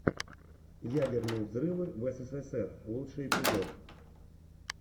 ядерные взрывы в эсэсэсэр лучший эпизод